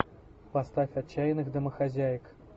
поставь отчаянных домохозяек